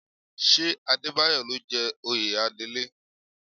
Ṣé Adébáyọ̀ ló jẹ oyè Adelé?